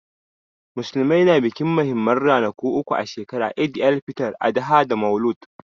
Musulmai na bikin muhimman ranaku uku a shekara, Eid-el-fitr, Adha da Maulud.